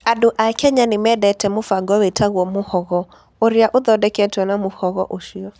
Andũ a Kenya nĩ mendete mũbango wĩtagwo "muhogo", ũrĩa ũthondeketwo na mũbango ũcio.